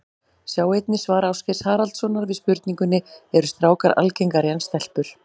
Sjá einnig svar Ásgeirs Haraldssonar við spurningunni Eru strákar algengari en stelpur?